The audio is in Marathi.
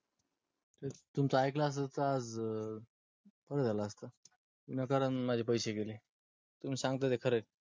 तुमचा ऐकलं असत आज तर बर झाल असत विना कारण माझे पैसे गेले. तुम्ही सांगता ते खर ए.